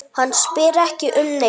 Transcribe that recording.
Hann spyr ekki um neitt.